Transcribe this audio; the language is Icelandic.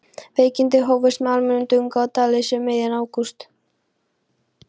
Veikindin hófust með almennum drunga og dáðleysi um miðjan ágúst.